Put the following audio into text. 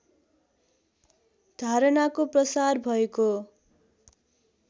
धारणाको प्रसार भएको